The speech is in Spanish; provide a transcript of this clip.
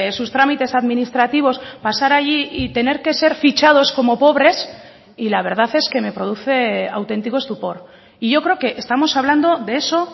sus trámites administrativos pasar allí y tener que ser fichados como pobres y la verdad es que me produce auténtico estupor y yo creo que estamos hablando de eso